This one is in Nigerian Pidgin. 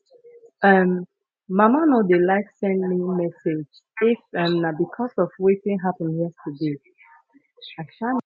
um mama no dey like send me message if um na bcos of wetin happen yesterday i am